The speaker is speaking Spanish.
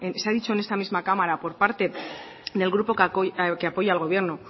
se ha dicho en esta misma cámara por parte del grupo que apoya al gobierno